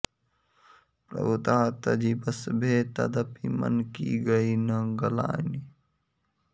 प्रभुता तजि बस भे तदपि मन की गइ न गलानि